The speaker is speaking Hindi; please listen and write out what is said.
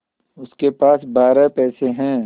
उसके पास बारह पैसे हैं